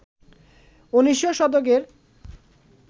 ১৯শ শতকের